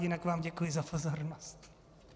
Jinak vám děkuji za pozornost.